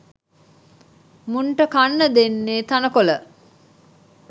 මුන්ට කන්න දෙන්නේ තණකොළ.